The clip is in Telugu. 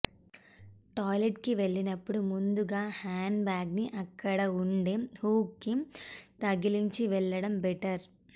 టాయిలెట్ కి వెళ్ళినపుడు ముందుగా హ్యాండ్ బ్యాగ్ ని అక్కడ ఉండే హుక్ కి తగిలించి వెళ్లడం బెటర్